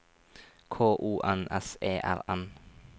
K O N S E R N